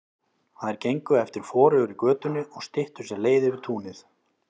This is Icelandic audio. Þær gengu eftir forugri götunni og styttu sér leið yfir túnið.